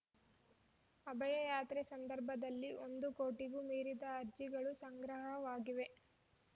ಅಭಯ ಯಾತ್ರೆ ಸಂದರ್ಭದಲ್ಲಿ ಒಂದು ಕೋಟಿಗೂ ಮೀರಿದ ಅರ್ಜಿಗಳು ಸಂಗ್ರಹವಾಗಿವೆ